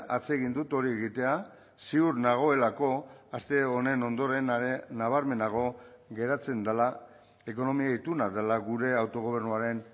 atsegin dut hori egitea ziur nagoelako aste honen ondoren nabarmenago geratzen dela ekonomia ituna dela gure autogobernuaren